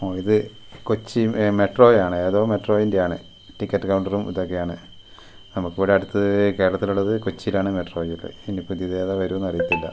ആ ഇത് കൊച്ചി മെട്രോ ആണ് ഏതോ മെട്രോയിന്റെ ആണ് ടിക്കറ്റ് കൗണ്ടറും ഇതൊക്കെ ആണ് നമുക്ക് ഇവിടെ അടുത്ത് കേരളത്തിലുള്ളത് കൊച്ചിയിലാണ് മെട്രോ ഒക്കെ ഇനി ഇപ്പൊ ഏതാ പുതിയത് ഏതാ വരുന്നതെന്ന് അറിയത്തില്ല.